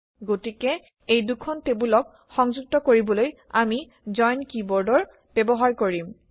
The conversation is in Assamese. গতিকে এই দুখন টেবুলক সংযুক্ত কৰিবলৈ আমি জইন কিৱৰ্ড ব্যৱহাৰ কৰিম